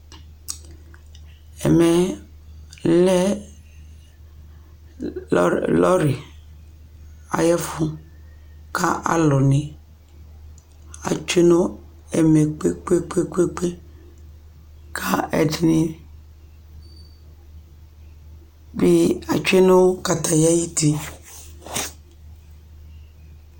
Ɛmɛ yɛ lɛ lɔ lɔrɩ ayʋ ɛfʋ kʋ alʋnɩ atsue nʋ ɛmɛ kpe-kpe-kpe kʋ ɛdɩnɩ bɩ atsue nʋ katatɩ ayuti